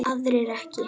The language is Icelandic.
Aðrir ekki.